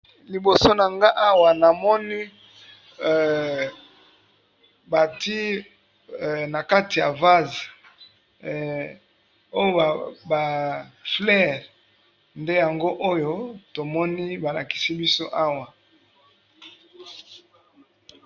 Liboso na nga awa namoni bati na kati ya vase oa ba fleure, nde yango oyo tomoni ba lakisi biso awa.